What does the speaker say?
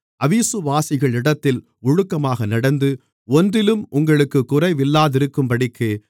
அவிசுவாசிகளிடத்தில் ஒழுக்கமாக நடந்து ஒன்றிலும் உங்களுக்குக் குறைவில்லாதிருக்கும்படிக்கு